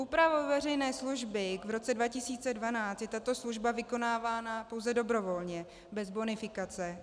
Úpravou veřejné služby v roce 2012 je tato služba vykonávána pouze dobrovolně, bez bonifikace.